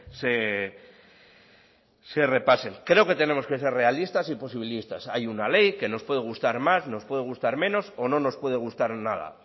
se se repasen creo que tenemos que ser realistas y posibilistas hay una ley que nos puede gustar más nos puede gustar menos o no nos puede gustar nada